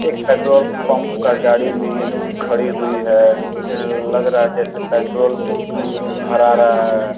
एक petrol pump का गाड़ी भी खड़ी हुई है जिसमे लग रहा है जैसे पेट्रोल भरा रहा है।